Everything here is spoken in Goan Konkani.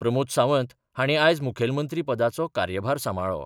प्रमोद सावंत हांणी आयज मुखेलमंत्री पदाचो कार्यभार सांबाळ्ळो.